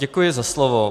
Děkuji za slovo.